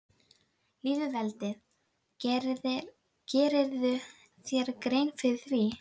Lýðveldið, gerirðu þér grein fyrir því?